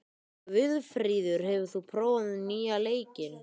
Guðfríður, hefur þú prófað nýja leikinn?